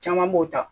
Caman b'o ta